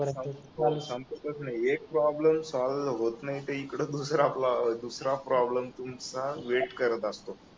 हा संपतच नाहीये एक प्रॉब्लेम सॉल होत नाही ते इकडे दुसरा प्रॉब्लेम दुसरा प्रॉब्लेम तुमचा वेट करत असतो